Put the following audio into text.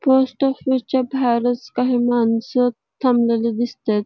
Post office च्या बाहेर च काही माणस थांबलेले दिसताहेत.